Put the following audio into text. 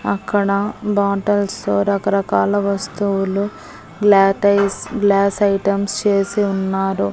అక్కడ బాటల్సు రకరకాల వస్తువులు గ్లాటైస్ గ్లాస్ ఐటమ్స్ చేసి ఉన్నారు.